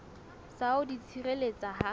sa ho di tshireletsa ha